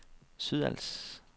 Sydals